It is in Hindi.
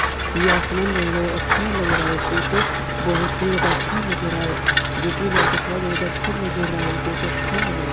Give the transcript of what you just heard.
ये आसमान बहुत ज्यादा अच्छा लग रहा है। फोटो बहुत ही ज्यादा अच्छा लग रहा है जो कि लड़का खड़ा है बहुत अच्छा लग रहा है फोटो अच्छा लग रहा है।